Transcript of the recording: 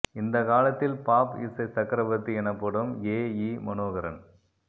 இந்த காலத்தில் பாப் இசை சக்ரவர்த்தி எனப்படும் எ யி மனோகரன்